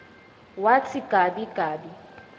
watsi gabi gabi